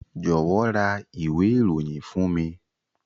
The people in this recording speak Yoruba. Jọ̀wọ́ ra ìwé ìròyìn fún mi.